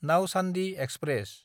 Nauchandi express